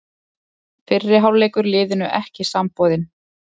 Fyrri hálfleikur liðinu ekki samboðinn